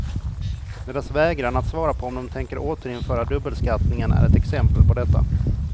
Deras vägran att svara på om de tänker återinföra dubbelskattningen är ett exempel på detta.